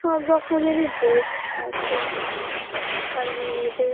সবরকমের ড্রেস আছে এইখানে মেয়েদের।